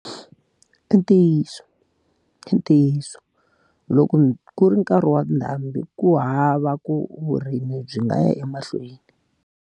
I ntiyiso, i ntiyiso. Loko ku ri nkarhi wa ndhambi ku hava ku vurimi byi nga ya emahlweni.